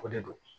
O de do